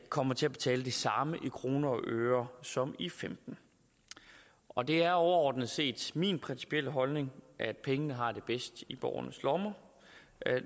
kommer til at betale det samme i kroner og øre som i femten og det er overordnet set min principielle holdning at pengene har det bedst i borgernes lommer